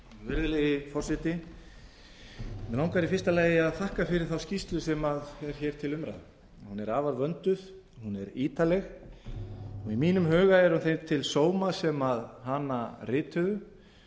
virðulegi forseti mig langar í fyrsta lagi að þakka fyrir þá skýrslu sem er hér til umræðu hún er afar vönduð hún er ítarleg og í mínum huga er hún þeim til sóma sem hana rituðu